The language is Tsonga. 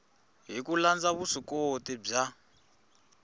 hi ku landza vuswikoti bya